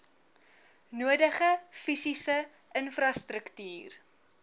nodige fisiese infrastruktuur